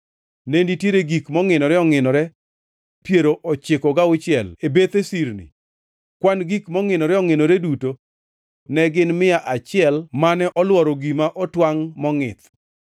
Ne nitiere gik mongʼinore ongʼinore piero ochiko gauchiel e bethe sirni, kwan gik mongʼinore ongʼinore duto ne gin mia achiel mane olworo gima otwangʼ mongʼith.